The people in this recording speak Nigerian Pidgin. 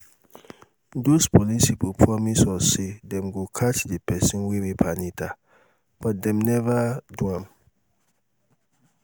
doz police people promise us say um dem go catch the people wey rape anita but dem never um do am